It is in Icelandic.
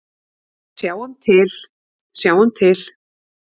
Sjáum til, sjáum til.